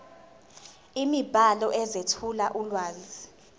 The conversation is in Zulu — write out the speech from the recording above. imibhalo ezethula ulwazi